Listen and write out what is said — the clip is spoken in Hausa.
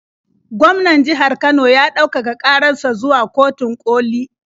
Gwaman jihar Kano ya ɗaukaka ƙarar sa zuwa kotun ƙoli.